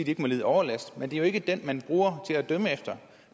ikke må lide overlast men det er ikke den man bruger til at dømme efter